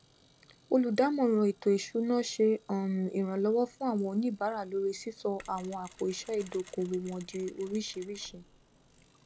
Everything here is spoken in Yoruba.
olùdámọràn ètò ìṣúná ṣe um iranlọwọ fun awọn onibaara lórí sisọ àwọn àpòiṣẹ ìdókòwò wọn di oríṣiríṣi